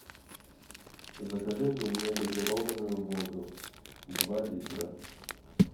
закажи мне негазированную воду два литра